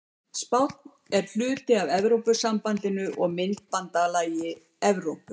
Spánn er hluti af Evrópusambandinu og myntbandalagi Evrópu.